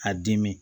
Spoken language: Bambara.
A dimi